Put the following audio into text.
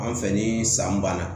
An fɛ ni san banna